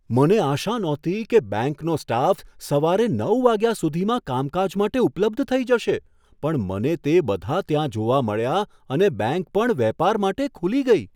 મને આશા નહોતી કે બેંકનો સ્ટાફ સવારે નવ વાગ્યા સુધીમાં કામકાજ માટે ઉપલબ્ધ થઈ જશે પણ મને તે બધા ત્યાં જોવા મળ્યા અને બેંક પણ વેપાર માટે ખુલી ગઈ.